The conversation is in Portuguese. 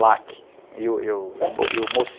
e o, e o mocinho